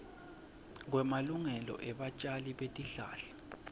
kwemalungelo ebatjali betihlahla